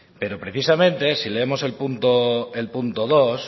pero precisamente si leemos el punto el punto dos